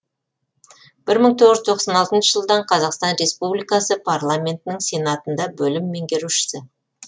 бір мың тоғыз жүз тоқсан алтыншы жылдан қазақстан республикасы парламентінің сенатында бөлім меңгерушісі